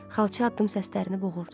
Xalça addım səslərini boğurdu.